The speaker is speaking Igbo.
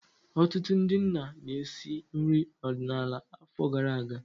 Ọtụtụ ndị nna na-esi nri ọdịnala afọ gara aga.